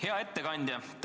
Hea ettekandja!